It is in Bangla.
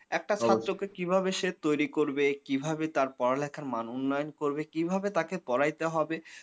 একটা ছাত্রকে কিভাবে সে তৈরি করবে কিভাবে তার পড়া লেখার মাধ্যমে মান উন্নয়ন করবে কিভাবে তাকে করাইতে হবে